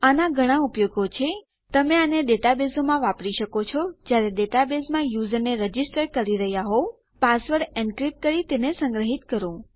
આના ઘણા ઉપયોગો છે તમે આને ડેટાબેઝોમાં વાપરી શકો છો જયારે ડેટાબેઝમાં યુઝરને રજીસ્ટર કરી રહ્યા હોવ પાસવર્ડ એનક્રીપ્ટ કરી તેને સંગ્રહીત કરો